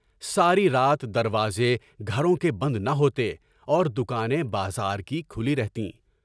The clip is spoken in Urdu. ساری رات دروازے گھروں کے بند نہ ہوتے اور دکانیں بازار کی کھلی رہتیں۔